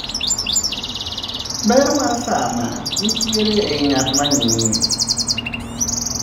Ber mar sanaa nitiere ei ngatma ng'iye.